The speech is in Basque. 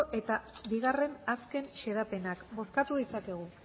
eta bi azken xedapenak bozkatu ditzakegu